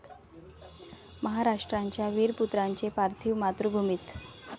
महाराष्ट्राच्या वीरपुत्रांचे पार्थिव मातृभूमीत